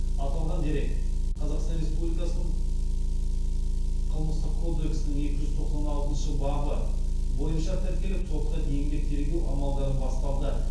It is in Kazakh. аталған дерек қазақстан республикасының қылмыстық кодексініңекі жүз тоқсан алтыншы бабы бойынша тіркеліп сотқа дейінгі тергеу амалдары басталды